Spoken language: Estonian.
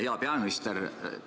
Hea peaminister!